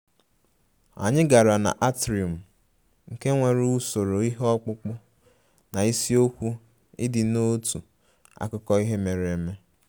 Anyị gara na atrium, nke nwere usoro ihe ọkpụkpụ na isiokwu ịdị n'otu akụkọ ihe mere eme